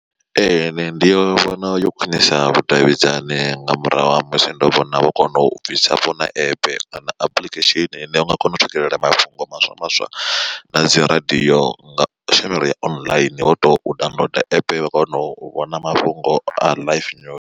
Ee ndi vhona yo khwinisa vhudavhidzani nga murahu ha musi ndo vhona vho kona u bvisa vhona app kana application ine u nga kona u swikelela mafhungo maswa maswa na dzi radio nga tshumelo ya online wo to downloader app wa kona u vhona mafhungo a life news.